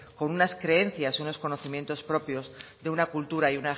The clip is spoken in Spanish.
con unas creencias unos conocimientos propios de una cultura